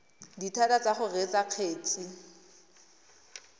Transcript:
dithata tsa go reetsa kgetse